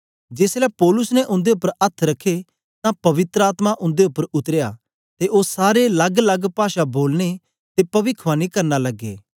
जेसलै पौलुस ने उन्दे उपर अथ्थ रखे तां पवित्र आत्मा उन्दे उपर उतरया ते ओ सारे लग्गलग्ग पाषा बोलने ते पविखवाणी करना लगे